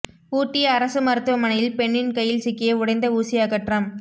ஊட்டி அரசு மருத்துவமனையில் பெண்ணின் கையில் சிக்கிய உடைந்த ஊசி அகற்றம்